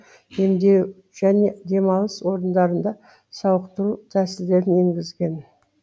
емдеу және демалыс орындарында сауықтыру тәсілдерін енгізген